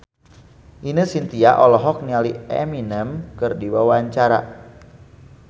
Ine Shintya olohok ningali Eminem keur diwawancara